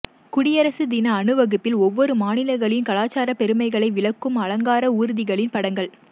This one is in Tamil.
குடியரசு தின அணிவகுப்பில் ஒவ்வொரு மாநிலங்களின் கலாச்சார பெருமைகளை விளக்கும் அலங்கார ஊர்திகளின் படங்கள்